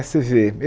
Você vê.